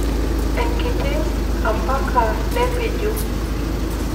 enkiti ampaka nepiju.